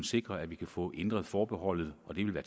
sikre at vi kan få ændret forbeholdet